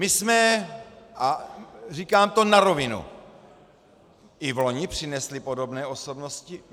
My jsme, a říkám to na rovinu, i v loni přinesli podobné osobnosti.